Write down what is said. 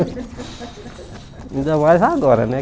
Ainda mais agora, né?